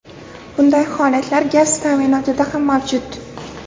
Bunday holatlar gaz ta’minotida ham mavjud.